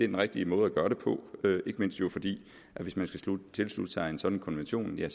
den rigtig måde at gøre det på ikke mindst fordi man hvis man skal tilslutte sig en sådan konvention jo